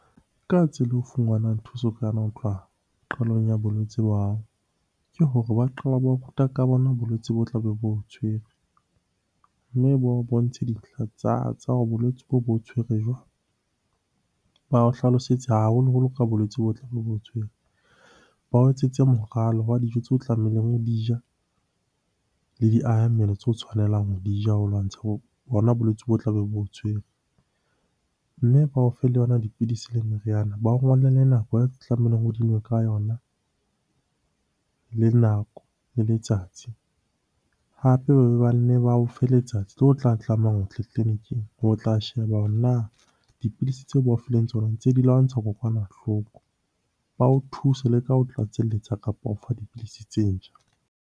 Ka tsela ho funganwang thuso ho tloha qalong ya bolwetse ba hao, ke hore ba qala ba ruta ka bona bolwetse bo tlabe bo o tshwere. Mme ba o bontshe dintlha tsa bolwetse boo bo tshwere jwang? Ba o hlalosetse haholoholo ka bolwetse bo tlabo bo o tshwere. Ba o etsetse moralo wa dijo tseo tlamehileng ho di ja, le di aha mmele tseo o tshwanelang ho di ja ho lwantsha bona bolwetse bo tlabe bo o tshwere. Mme ba o fe le yona dipidisi le meriana, ba o ngolle le nako tlamehileng o di nwe ka yona, le nako le letsatsi. Hape ba be ba nne ba o fe letsatsi leo o tla tlamehang tleliniking ho tla sheba hore na dipidisi tseo ba o fileng tsona ntse di lwantsha kokwanahloko? Ba o thuse le ka ho tlatselletsa kapa ho fa dipidisi tse ntjha.